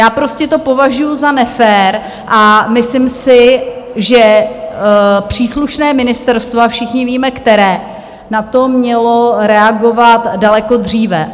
Já prostě to považuju za nefér a myslím si, že příslušné ministerstvo, a všichni víme, které, na to mělo reagovat daleko dříve.